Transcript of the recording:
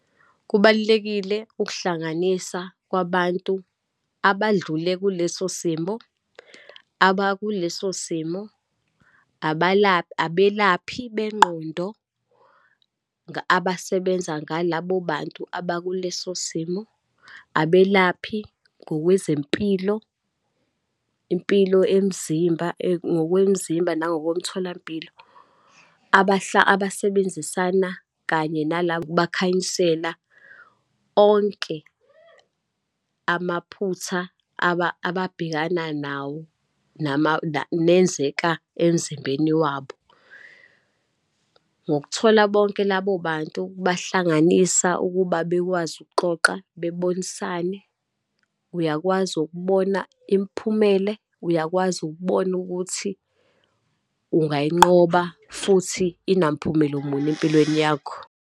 Kubalulekile ukuhlanganisa kwabantu abadlule kuleso simo, abakuleso simo, abelaphi bengqondo abasebenza ngalabo bantu aba kuleso simo, abelaphi ngokwezempilo, impilo emzimba, ngokwemzimba nangokomtholampilo, abasebenzisana kanye , bakhanyisela onke amaphutha ababhekana nawo nenzeka emzimbeni wabo. Ngokuthola bonke labo bantu, ukubahlanganisa, ukuba bekwazi ukuxoxa, bebonisane. Uyakwazi ukubona imiphumele, uyakwazi ukubona ukuthi ungayinqoba, futhi inamphumelo muni empilweni yakho.